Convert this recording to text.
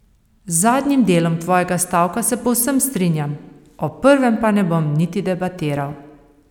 Z zadnjim delom tvojega stavka se povsem strinjam, o prvem pa ne bom niti debatiral.